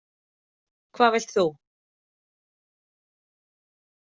Hvað vilt þú?